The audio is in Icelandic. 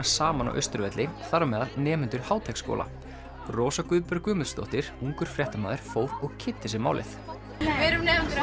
saman á Austurvelli þar á meðal nemendur Háteigsskóla Rósa Guðbjörg Guðmundsdóttir ungur fréttamaður fór og kynnti sér málið við erum nemendur